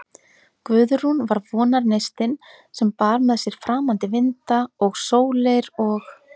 Guðrún var vonarneistinn, sem bar með sér framandi vinda og sólir, og